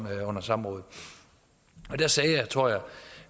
af under samrådet og der sagde jeg tror jeg